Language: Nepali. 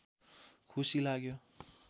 खुसी लाग्यो